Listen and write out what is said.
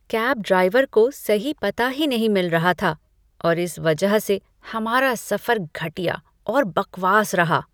Cab driver को सही पता ही नहीं मिल रहा था और इस वजह से हमारा सफर घटिया और बकवास रहा।